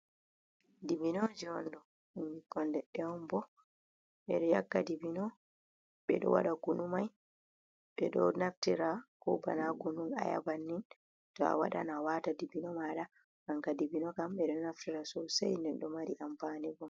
Dibino je on ɗo, ɗum ɓikkoi leɗɗe on bo, ɓeɗo aikka dibino ɓeɗo waɗa kunu mai, ɓe ɗo naftira ko bana kunun aya, bannin to a waɗan a wata dibino maɗa aka dibino kam ɓeɗo naftira sosai nden ɗo mari amfane bo.